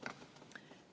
Kuidas?